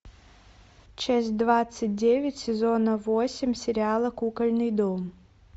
часть двадцать девять сезона восемь сериала кукольный дом